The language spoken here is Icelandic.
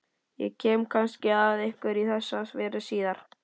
Ég kem kannski að einhverju í þessa veru síðar.